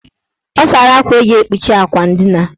Ọ sara akwa eji ekpuchi akwa ndina.